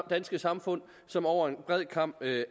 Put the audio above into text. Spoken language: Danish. danske samfund som over en bred kam